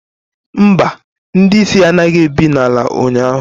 Mba, ndị isi anaghị ebi n'ala ụnyahụ